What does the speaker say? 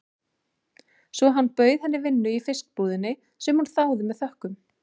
Svo hann bauð henni vinnu í fiskbúðinni, sem hún þáði með þökkum.